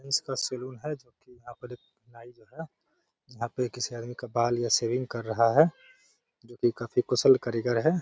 का सलून है जो कि यहाँ पर एक नाई जो है यहाँ पे किसी आदमी का बाल या शेविंग कर रहा है जो कि काफी कुशल कारीगर है।